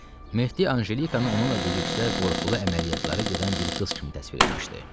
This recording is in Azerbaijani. Mehdi Anjelikanı onunla birlikdə qorxulu əməliyyatlara gedən bir qız kimi təsvir etmişdi.